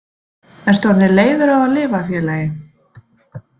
Ertu orðinn leiður á að lifa félagi?